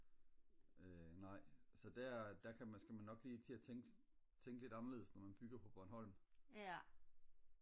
øh nej så der der kan man skal man nok lige til at tænke lidt anderledes når man bygger på bornholm